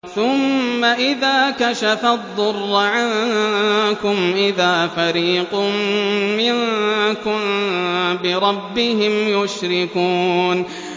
ثُمَّ إِذَا كَشَفَ الضُّرَّ عَنكُمْ إِذَا فَرِيقٌ مِّنكُم بِرَبِّهِمْ يُشْرِكُونَ